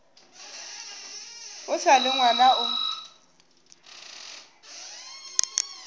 o sa le ngwana o